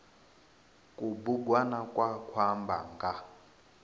kubugwana kwa khou amba nga